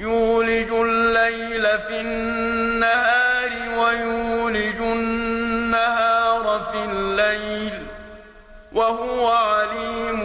يُولِجُ اللَّيْلَ فِي النَّهَارِ وَيُولِجُ النَّهَارَ فِي اللَّيْلِ ۚ وَهُوَ عَلِيمٌ